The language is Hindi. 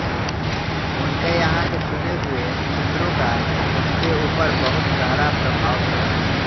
उनके यहाँ के चुने हुए चित्रों का उसके ऊपर बहुत गहरा प्रभाव पड़ा